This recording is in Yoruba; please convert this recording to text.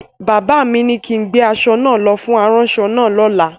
Bàbá mi ni kin gbé aṣọ náà lọ fún aránṣọ náà lọ́la!